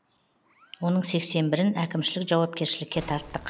оның сексен бірін әкімшілік жауапкершілікке тарттық